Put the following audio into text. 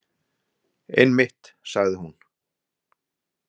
Einmitt, sagði hún.